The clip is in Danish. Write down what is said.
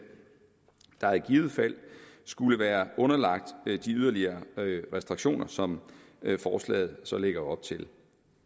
der i givet fald skulle være underlagt de yderligere restriktioner som forslaget så lægger op til